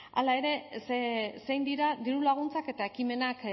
hala ere zein dira diru laguntzak eta ekimenak